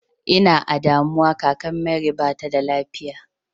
I na a damuwa kakan mary ba ta da lafiya.